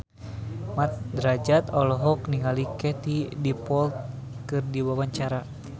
Mat Drajat olohok ningali Katie Dippold keur diwawancara